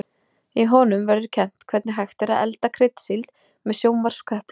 Í honum verður kennt hvernig hægt er að elda kryddsíld með sjónvarpsköplum.